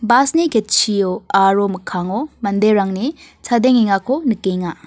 bus-ni ketchio aro mikkango manderangni chadengengako nikenga.